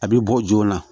A bɛ bɔ joona